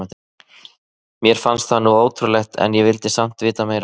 Mér fannst það nú ótrúlegt en ég vildi samt vita meira.